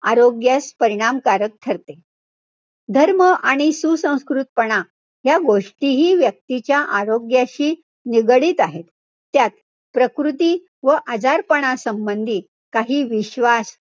आरोग्यास परिणामकारक ठरते. धर्म आणि सुसंस्कृतपणा ह्या गोष्टीही व्यक्तीच्या आरोग्याशी निगडित आहेत. त्यात, प्रकृती व आजारपणा संबंधी काही विश्वास,